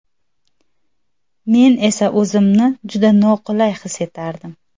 Men esa o‘zimni juda noqulay his etardim.